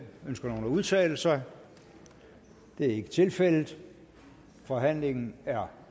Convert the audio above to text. ønsker nogen at udtale sig det er ikke tilfældet forhandlingen er